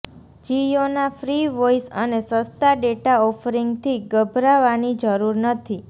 જિયોના free voice અને સસ્તા data ઓફરિંગથી ગભરાવાની જરૂર નથી